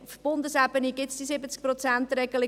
Auf Bundesebene gibt es die 70-Prozent-Regelung.